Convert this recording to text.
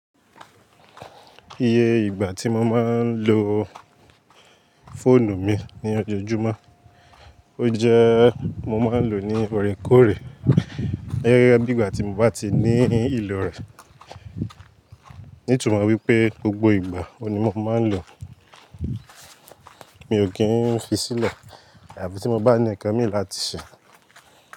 Iye ìgbà tí mo máa ń lo fóònù mi ní ojoojúmọ́, ó jẹ́ mo máa ń lo ní órekóòrè bí ìgbà tí mo bá ti ní ìlò rẹ̀. Nitunmo wi pé gbogbo ìgbà ó ni mo máa ń lo, mi ò kí ń fi sílẹ̀ àfi tí mo bá ní nkan mi láti ṣe.